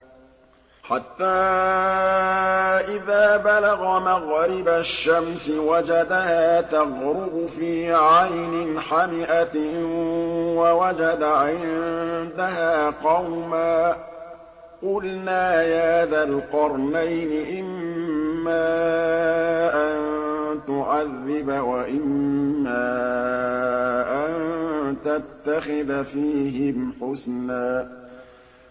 حَتَّىٰ إِذَا بَلَغَ مَغْرِبَ الشَّمْسِ وَجَدَهَا تَغْرُبُ فِي عَيْنٍ حَمِئَةٍ وَوَجَدَ عِندَهَا قَوْمًا ۗ قُلْنَا يَا ذَا الْقَرْنَيْنِ إِمَّا أَن تُعَذِّبَ وَإِمَّا أَن تَتَّخِذَ فِيهِمْ حُسْنًا